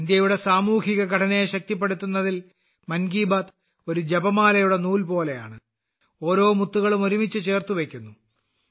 ഇന്ത്യയുടെ സാമൂഹിക ഘടനയെ ശക്തിപ്പെടുത്തുന്നതിൽ മൻ കി ബാത്ത് ഒരു ജപമാലയുടെ നൂൽ പോലെയാണ് ഓരോ മുത്തുകളും ഒരുമിച്ച് ചേർത്ത് വെയ്ക്കുന്നു